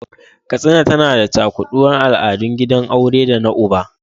Katsina tana da cakuɗuwar al’adun gidan aure da na uba.